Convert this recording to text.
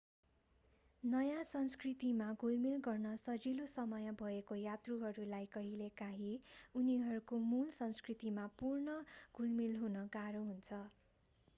नयाँ संस्कृतिमा घुलमिल गर्न सजिलो समय भएको यात्रुहरूलाई कहिलेकाहीँ उनीहरूको मूल संस्कृतिमा पुनः घुलमिल गर्न गाह्रो हुन्छ